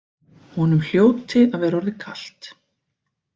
Honum hljóti að vera orðið kalt.